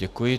Děkuji.